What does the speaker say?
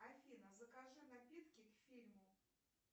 афина закажи напитки к фильму